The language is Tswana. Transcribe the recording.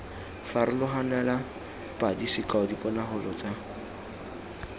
farologanale padi sekao diponagalo tsa